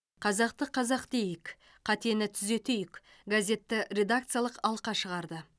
қазақты қазақ дейік қатені түзетейік газетті редакциялық алқа шығарды